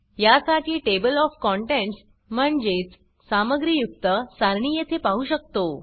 या साठी table of contents म्हणजेच सामग्रीयुक्त सारणी येथे पाहु शकतो